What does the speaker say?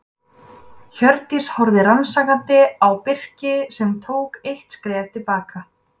Hjördís horfði rannsakandi á Birki sem tók eitt skref til baka.